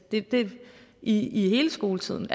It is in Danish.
i hele skoletiden